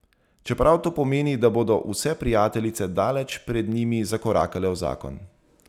Čeprav to pomeni, da bodo vse prijateljice daleč pred njimi zakorakale v zakon.